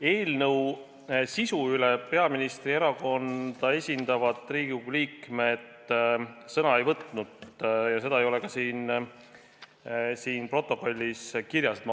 Eelnõu sisu teemal peaministri erakonda esindavad Riigikogu liikmed sõna ei võtnud ja nii ei ole seda ka siin protokollis kirjas.